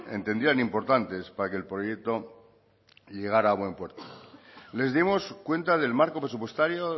entendían importantes para que el proyecto llegara a buen puerto les dimos cuenta del marco presupuestario